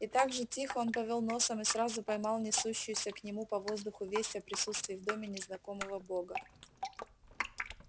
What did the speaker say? и также тихо он повёл носом и сразу поймал нёсшуюся к нему по воздуху весть о присутствии в доме незнакомого бога